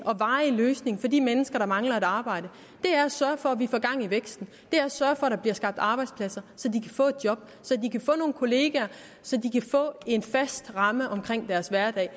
og varige løsning for de mennesker der mangler et arbejde er at sørge for at vi får gang i væksten det er at sørge for at der bliver skabt arbejdspladser så de kan få et job så de kan få nogle kollegaer så de kan få en fast ramme om deres hverdag